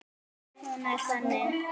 Hún er þannig